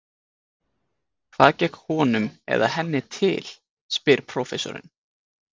Hvað gekk honum eða henni til? spyr prófessorinn.